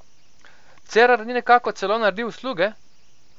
Cerar ni nekako celo naredil usluge?